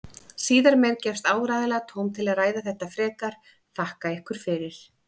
Síðar meir gefst áreiðanlega tóm til að ræða þetta frekar, þakka ykkur fyrir.